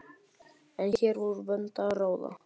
En hér var úr vöndu að ráða.